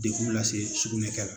Dekun lase sugunɛkɛla